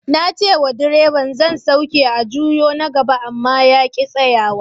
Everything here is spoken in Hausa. Na ce wa direban zan sauke a juyo na gaba, amma ya ki tsayawa.